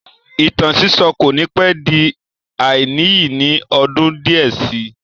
Ìtàn sísọ́ kò ní pẹ́ di àìníyì ní ọdún díẹ̀ sí i